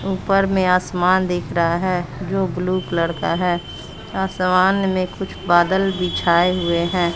ऊपर में आसमान दिख रहा है जो ब्लू कलर का है आसमान में कुछ बदल बिछाए हुए हैं।